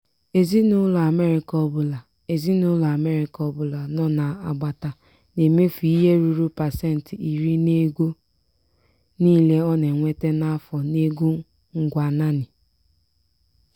ezinụlọ amerịka ọbụla ezinụlọ amerịka ọbụla nọ n'agbata na-emefu ihe ruru pasenti iri n'ego niile ọ na-enweta n'afọ n'ego ngwa naanị.